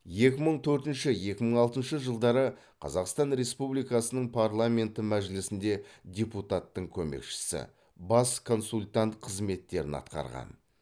екі мың төртінші екі мың алтыншы жылдары қазақстан республикасының парламенті мәжілісінде депутаттың көмекшісі бас консультант қызметтерін атқарған